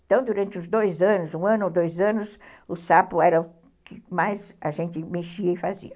Então, durante uns dois anos, um ano ou dois anos, o sapo era o que mais a gente mexia e fazia.